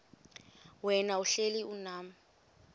wena uhlel unam